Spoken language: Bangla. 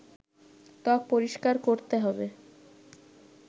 ত্বক পরিষ্কার করতে হবে